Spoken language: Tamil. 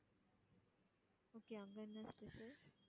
okay அங்க என்ன special